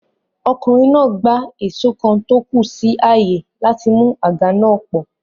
Ọkùnrin náà gbá èsó kan tó kù sí àyè láti mú àga náà pọ̀